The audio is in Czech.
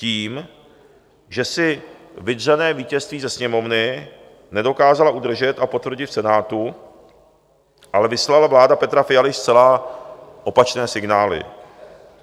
Tím, že si vydřené vítězství ze Sněmovny nedokázala udržet a potvrdit v Senátu, ale vyslala vláda Petra Fialy zcela opačné signály.